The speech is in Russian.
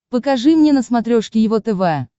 покажи мне на смотрешке его тв